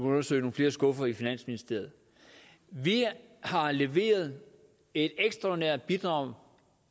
undersøge nogle flere skuffer i finansministeriet vi har leveret et ekstraordinært bidrag